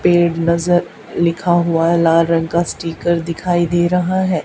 पेड़ नजर लिखा हुआ लाल रंग का स्टिकर दिखाई दे रहा है।